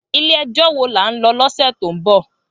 Ilè èjò wó lá n lò lòsè tó n bò?